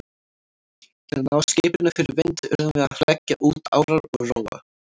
Til að ná skipinu fyrir vind urðum við að leggja út árar og róa.